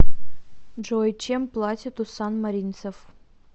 джой чем платят у санмаринцев